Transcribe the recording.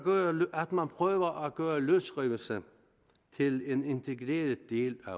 at man prøver at gøre løsrivelse til en integreret del af